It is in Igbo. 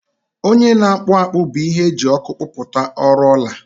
onye na-akpụ akpụ bụ ihe eji ọkụ kpụpụta ọrụ ọla